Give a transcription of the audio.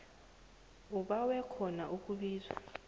ubawe khona ukusizwa